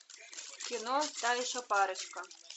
кино та еще парочка